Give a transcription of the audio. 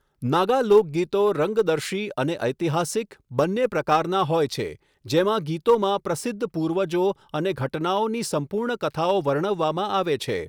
નાગા લોકગીતો રંગદર્શી અને ઐતિહાસિક બંને પ્રકારના હોય છે, જેમાં ગીતોમાં પ્રસિદ્ધ પૂર્વજો અને ઘટનાઓની સંપૂર્ણ કથાઓ વર્ણવવામાં આવે છે.